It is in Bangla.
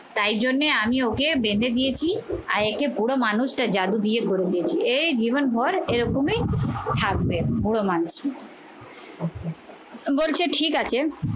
তাই জন্যে আমি ওকে বেঁধে দিয়েছি আর একে পুরো মানুষটা জাদু দিয়ে ভরে দিয়েছে। এই জীবন ভর এরকমই থাকবে বুড়ো মানুষ বলছে ঠিক আছে